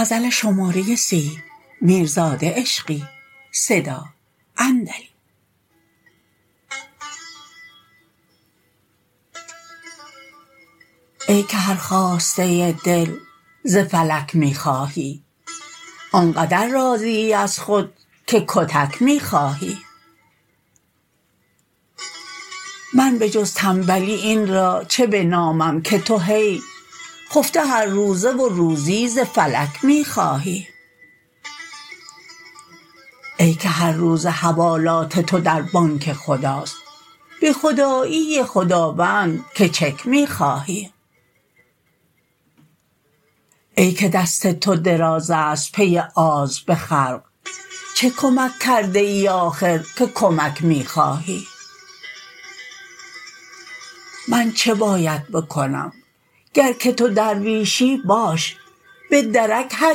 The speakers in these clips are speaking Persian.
ای که هر خواسته دل ز فلک می خواهی آنقدر راضی ای از خود که کتک می خواهی من به جز تنبلی این را چه بنامم که تو هی خفته هرروزه و روزی ز فلک می خواهی ای که هرروزه حوالات تو در بانک خداست به خدایی خداوند که چک می خواهی ای که دست تو دراز است پی آز به خلق چه کمک کرده ای آخر که کمک می خواهی من چه باید بکنم گر که تو درویشی باش به درک هر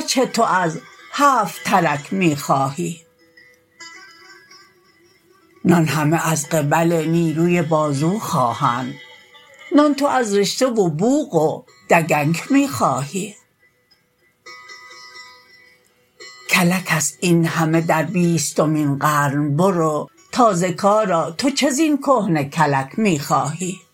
چه تو از هفت ترک می خواهی نان همه از قبل نیروی بازو خواهند نان تو از رشته و بوق و دگنک می خواهی کلک است این همه در بیستمین قرن برو تازه کارا تو چه زین کهنه کلک می خواهی